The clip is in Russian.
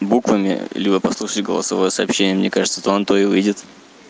буквами либо прослушать голосовое сообщение мне кажется то на то и выйдет